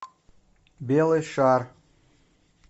белый шар